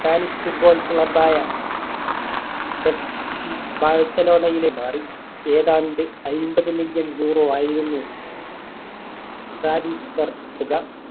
spanish Football Club ആയ F C ബാഴ്സിലോണയിലേക്ക് മാറി. ഏതാണ്ട് അയ്മ്പത് million euro ആയിരുന്നു Transfer തുക.